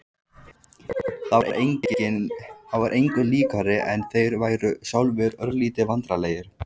Það var engu líkara en þeir væru sjálfir örlítið vandræðalegir.